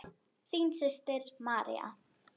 Þín systir, María.